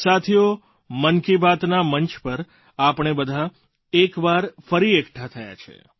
સાથીઓ મન કી બાતના મંચ પર આપણે બધાં એક વાર ફરી એકઠાં થયાં છે